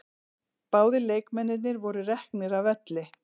Báðir leikmennirnir voru reknir af velli